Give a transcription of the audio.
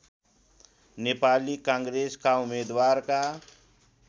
नेपाली काङ्ग्रेसका उम्मेदवारका